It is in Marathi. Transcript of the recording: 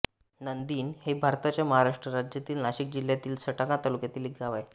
नंदीण हे भारताच्या महाराष्ट्र राज्यातील नाशिक जिल्ह्यातील सटाणा तालुक्यातील एक गाव आहे